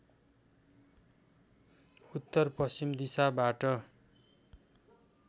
उत्तर पश्चिम दिशाबाट